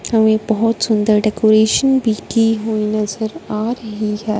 हमें बहोत सुंदर डेकोरेशन भी की हुई नजर आ रही है।